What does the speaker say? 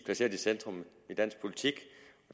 placeret i centrum af dansk politik og